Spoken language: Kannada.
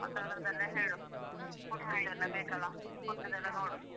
ಮತ್ತೆ ಅದ್ರದೆಲ್ಲ ಹೇಳು food free ಗೆಲ್ಲ ಬೇಕಲ್ಲಾ food ಅದೆಲ್ಲಾ ನೋಡು.